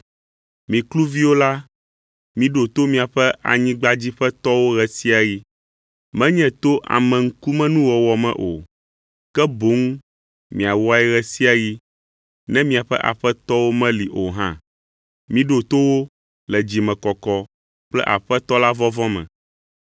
Mi kluviwo la, miɖo to miaƒe anyigbadziƒetɔwo ɣe sia ɣi; menye to ameŋkumenuwɔwɔ me o, ke boŋ miawɔe ɣe sia ɣi, ne miaƒe aƒetɔwo meli o hã. Miɖo to wo le dzimekɔkɔ kple Aƒetɔ la vɔvɔ̃ me.